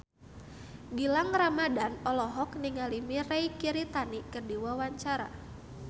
Gilang Ramadan olohok ningali Mirei Kiritani keur diwawancara